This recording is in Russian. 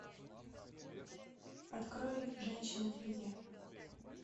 открой женщины в беде